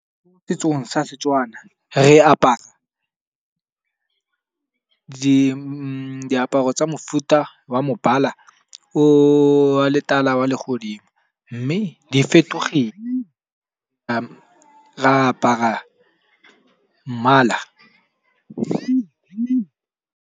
Setsong sa setswana re apara diaparo tsa mofuta wa mobala wa letala wa legodimo, mme di fetogele re apara mmala .